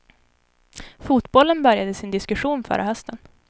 Fotbollen började sin diskussion förra hösten.